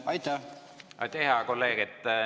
Aitäh, hea kolleeg!